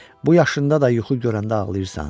Bu yaşında da yuxu görəndə ağlayırsan?